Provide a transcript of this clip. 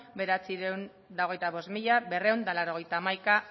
bederatziehun eta hogeita bost mila berrehun eta laurogeita hamaika